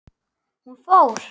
Hún fór.